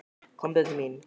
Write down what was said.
Komdu til mín.